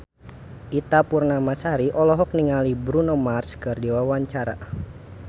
Ita Purnamasari olohok ningali Bruno Mars keur diwawancara